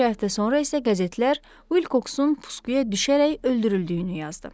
Bir neçə həftə sonra isə qəzetlər Vilksın pusuya düşərək öldürüldüyünü yazdı.